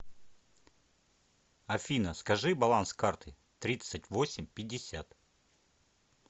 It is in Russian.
афина скажи баланс карты тридцать восемь пятьдесят